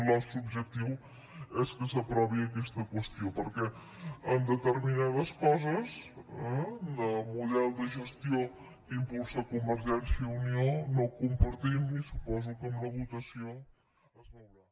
el nostre objectiu és que s’aprovi aquesta qüestió perquè en determinades coses eh el model de gestió que impulsa convergència i unió no el compartim i suposo que en la votació es veurà